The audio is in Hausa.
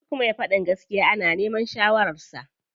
Duk me faɗin gaskiya ana neman shawarar sa.